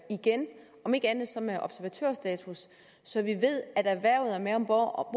igen om ikke andet så med observatørstatus så vi ved at erhvervet er med om bord